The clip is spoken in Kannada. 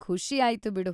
ಖುಷಿಯಾಯ್ತು ಬಿಡು.